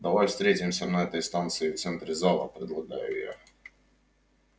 давай встретимся на этой станции в центре зала предлагаю я